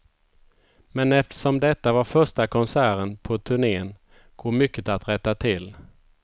Men eftersom detta var första konserten på turnén, går mycket att rätta till.